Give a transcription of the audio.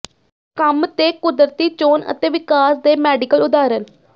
ਕੰਮ ਤੇ ਕੁਦਰਤੀ ਚੋਣ ਅਤੇ ਵਿਕਾਸ ਦੇ ਮੈਡੀਕਲ ਉਦਾਹਰਣ